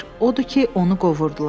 Odur ki, onu qovurdular.